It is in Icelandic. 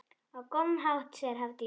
Á góðan hátt, segir Hafdís.